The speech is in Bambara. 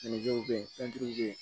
Minɛn dɔw be ye fɛn duuru be yen